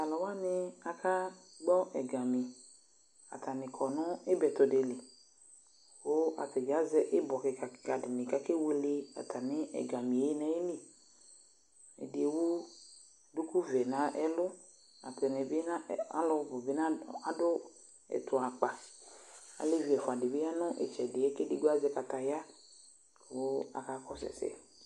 Taluwani akagbɔ ɛga atani akɔ nu ibɛtɔdili ku atani azɛ ibɔ kika kika dini ku akewule atami ɛga nu ayili ɛdi ewu du duku ɔvɛ nu ɛlu aluni du ɛtu akpa alevi ɛfuadi du itsɛdi azɛ kataya ku akakɔsu ɛsɛ